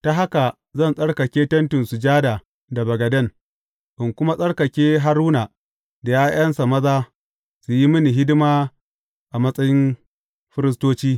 Ta haka zan tsarkake Tentin Sujada da bagaden, in kuma tsarkake Haruna da ’ya’yansa maza su yi mini hidima a matsayin firistoci.